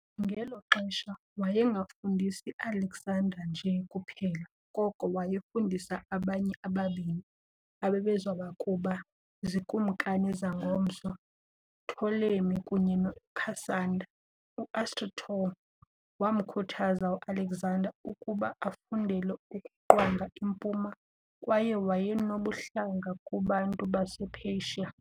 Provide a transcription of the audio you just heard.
Ngelo xesha wayengafundisi Alexander nje kuphela, koko wayefundisa abanye ababini ababezakuba ziikumkani zangomso- Ptolemy kunye noCassander. U-Aristotle waamkhuthaza uAlexander ukuba afundele ukuqhwaga impuma, kwaye wayenobuhlanga kubantu basePersia .